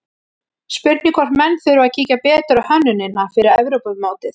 Spurning hvort menn þurfi að kíkja betur á hönnunina fyrir Evrópumótið?